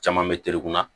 Caman bɛ telekun na